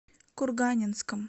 курганинском